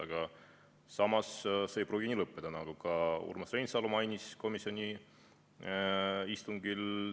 Aga samas see ei pruugi nii lõppeda, nagu ka Urmas Reinsalu mainis komisjoni istungil.